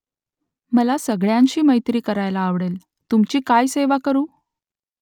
मला सगळ्यांशी मैत्री करायला आवडेल . तुमची काय सेवा करू ?